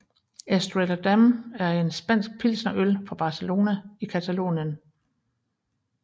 Estrella Damm er en spansk pilsnerøl fra Barcelona i Catalonien